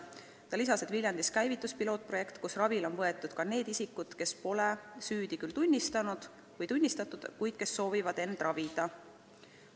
Ta lisas, et Viljandis käivitus pilootprojekt, mille raames on ravile võetud ka need isikud, kes pole süüdi tunnistatud, kuid kes soovivad end ravida.